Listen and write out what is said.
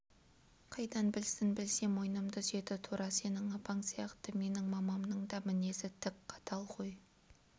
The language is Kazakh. қайдан білсін білсе мойнымды үзеді тура сенің апаң сияқты менің мамамның да мінезі тік қатал ғой